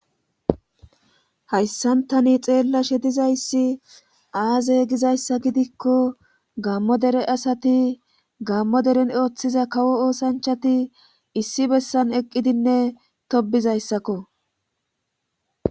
Hayssan tani xeellashe dizayssi aaze gizayssa gidikko gaammo dere asati gaammo eren oothiza kawo oosanchati issi bessan eqqidinne tobbizayssako.